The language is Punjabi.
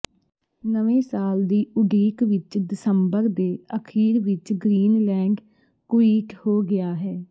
ਨਵੇਂ ਸਾਲ ਦੀ ਉਡੀਕ ਵਿਚ ਦਸੰਬਰ ਦੇ ਅਖੀਰ ਵਿਚ ਗ੍ਰੀਨਲੈਂਡ ਕੁਈਟ ਹੋ ਗਿਆ ਹੈ